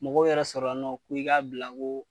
Mɔgɔw yɛrɛ sɔrɔ la nɔ k'i k'a bila ko.